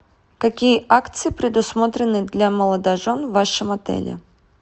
какие акции предусмотрены для молодожен в вашем отеле